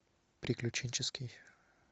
приключенческий